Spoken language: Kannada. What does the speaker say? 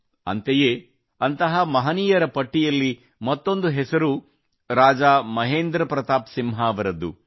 ಅಂತೆಯೇ ಅಂತಹ ಮಹನೀಯರ ಪಟ್ಟಿಯಲ್ಲಿ ಮತ್ತೊಂದು ಹೆಸರು ರಾಜಾ ಮಹೇಂದ್ರ ಪ್ರತಾಪ್ ಸಿಂಹ ಅವರದ್ದು